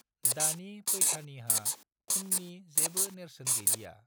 दानि पैठानीहा खुन्नि जेबो नेरसोन गैलिया।